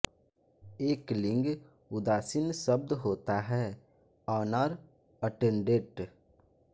एक लिंग उदासीन शब्द होता है ऑनर अटेंडेंट